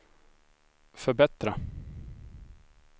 förbättra